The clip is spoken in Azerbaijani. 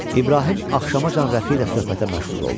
İbrahim axşamacan Rəfi ilə söhbətə məşğul oldu.